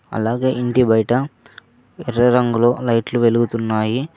అలాగే ఇంటి బయట ఎర్ర రంగులో లైట్లు వెలుగుతున్నాయి.